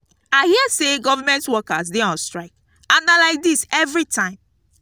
i hear say government workers dey on strike and na like dis everytime